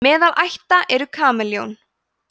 meðal ætta eru kameljón